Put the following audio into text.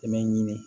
I bɛ ɲini